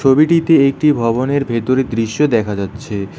ছবিটিতে একটি ভবনের ভেতরের দৃশ্য দেখা যাচ্ছে।